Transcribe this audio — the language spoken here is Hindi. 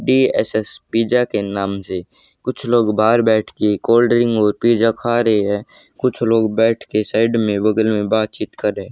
डी_एस_एस पिज्जा के नाम से कुछ लोग बाहर बैठ के कोल्ड ड्रिंक और पिज्जा खा रहे हैं कुछ लोग बैठ के साइड में बगल में बातचीत कर रहें।